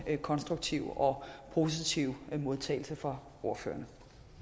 konstruktive og positive modtagelse fra ordførerne